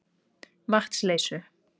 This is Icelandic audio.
Vatnsleysu